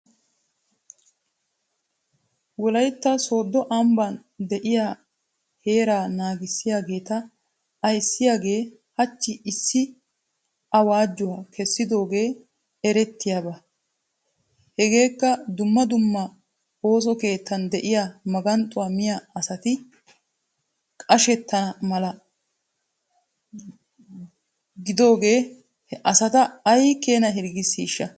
Wolaytta sooddo ambban de'iyaa seeraa naagissiyaageeta ayssiyaagee hachchi issi awaajuwaa kessidoogee erettiyaaba. Hegeekka dumma dumma ooso keettan de'iyaa naganxxuwaa miyaa asati qashettana mala giidoogee he asata ay keena hirggissiishsha.?